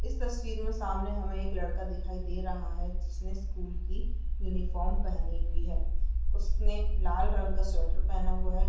इस तस्वीर में सामने हमें एक लड़का दिखाई दे रहा है जिसने स्कूल की यूनिफॉर्म पहनी हुई है। उसने लाल रंग का स्वेटर पहना हुआ है।